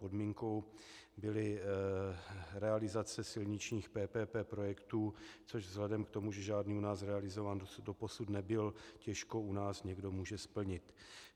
Podmínkou byly realizace silničních PPP projektů, což vzhledem k tomu, že žádný u nás realizován doposud nebyl, těžko u nás někdo může splnit.